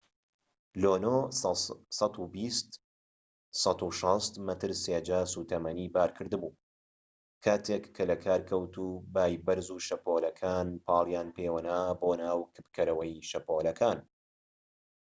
لونۆ 120-160 مەتر سێجا سوتەمەنی بار کرد بوو کاتێک کە لە کار کەوت و بای بەرز و شەپۆلەکان پاڵیان پێوەنا بۆ ناو کپکەرەوەی شەپۆڵەکان